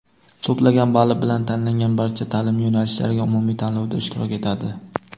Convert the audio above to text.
to‘plagan bali bilan tanlangan barcha taʼlim yo‘nalishlariga umumiy tanlovda ishtirok etadi.